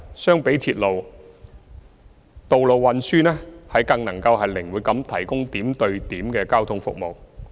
相比鐵路，道路運輸能更靈活地提供點對點的交通服務。